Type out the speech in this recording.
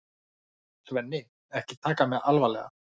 Svenni, ekki taka mig alvarlega.